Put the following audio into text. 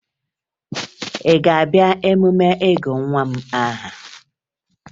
Ị ga-abịa emume ịgụ nwa m aha?